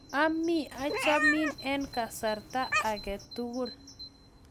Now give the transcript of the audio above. ami achamin eng' kasarat ang a tugul